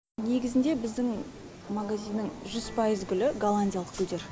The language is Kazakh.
негізінде біздің магазиннің жүз пайыз гүлі голландиялық гүлдер